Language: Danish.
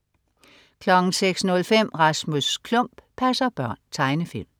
06.05 Rasmus Klump passer børn. Tegnefilm